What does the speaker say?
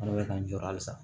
N'o bɛ k'an jɔ halisa